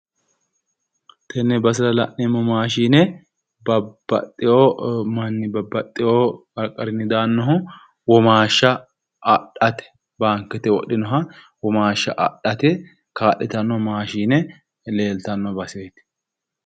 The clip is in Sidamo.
Tenne basera la'neemmo maashine babbaxxiwo manni babbaxxiwo qarqarinni daannohu womaashsha adhate baankete wodhinoha womaashsha adhate kaa'litanno maashine leeltanno baseeti.